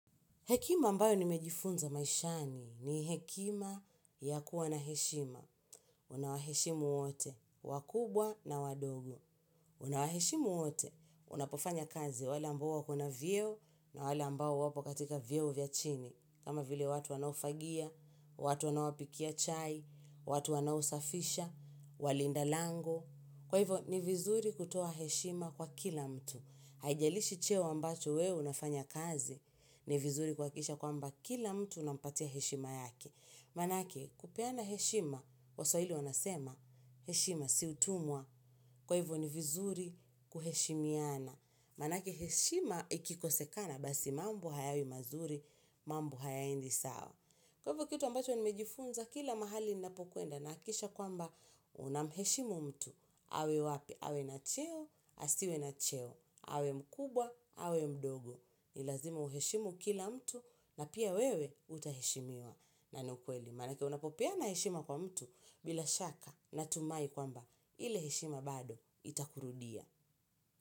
Hekima ambayo nimejifunza maishani ni hekima ya kuwa na heshima. Unawaheshima uote, wakubwa na wadogo. Unawaheshima wote, unapofanya kazi wala ambao kuna vyeo na wala ambao wapo katika vyeo vya chini. Kama vile watu wanaofagia, watu wanaopika chai, watu wanaosafisha, walinda lango. Kwa hivyo, ni vizuri kutoa heshima kwa kila mtu. Haijalishi cheo ambacho wewe unafanya kazi ni vizuri kuhakikisha kwamba kila mtu unampatia heshima yake. Maanake kupeana heshima, waswahili wanasema heshima si utumwa kwa hivyo ni vizuri kuheshimiana. Maanake heshima ikikosekana basi mambo hayawi mazuri, mambo hayaendi sawa. Kwa hivyo kitu ambacho nimejifunza kila mahali ninapokwenda na hakisha kwamba unamheshimu mtu. Awe wapi, awe na cheo, asiwe na cheo, awe mkubwa, awe mdogo. Ni lazima uheshimu kila mtu na pia wewe utaheshimiwa na ukweli. Maanake unapopeana heshima na mtu bila shaka natumai kwamba ile heshima bado itakurudia.